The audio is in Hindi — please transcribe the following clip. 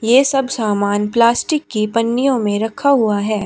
ये सब सामान प्लास्टिक की पन्नियों में रखा हुआ है।